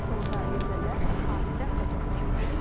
Sonda liderlər xatirə fotosu çəkdiriblər.